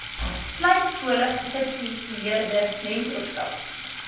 slypskole gesubsidieerde mentorskap